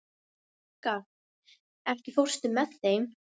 Bjarkar, ekki fórstu með þeim?